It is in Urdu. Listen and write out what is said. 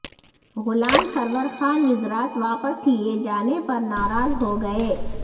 غلام سرور خان وزرات واپس لیے جانے پر نارا ض ہو گئے